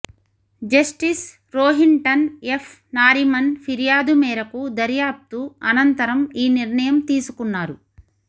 justice Rohinton F Nariman ఫిర్యాదు మేరకు దర్యాప్తు అనంతరం ఈ నిర్ణయం తీసుకున్నారు